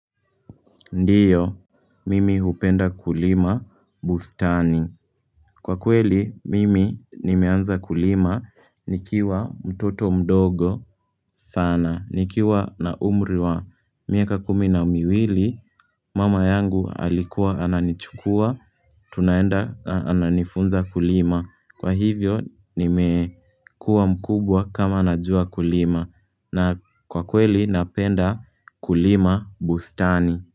Ndio, mimi hupenda kulima bustani. Kwa kweli, mimi nimeanza kulima nikiwa mtoto mdogo sana. Nikiwa na umri wa miaka kumi na miwili, mama yangu alikuwa ananichukua, tunaenda ananifunza kulima. Kwa hivyo, nimekua mkubwa kama nanajua kulima. Na kwa kweli, napenda kulima bustani.